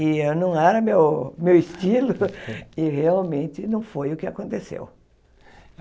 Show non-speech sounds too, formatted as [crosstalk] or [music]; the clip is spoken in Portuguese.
E eu não era meu meu estilo, [laughs] e realmente não foi o que aconteceu.